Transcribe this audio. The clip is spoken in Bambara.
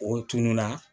O tununna